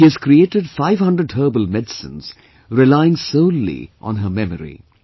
She has created five hundred herbal medicines relying solely on her memory